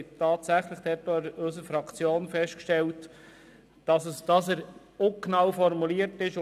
Tatsächlich hat auch unsere Fraktion festgestellt, dass die Formulierung ungenau ist.